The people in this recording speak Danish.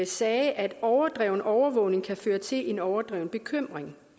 sagde at overdreven overvågning kan føre til en overdreven bekymring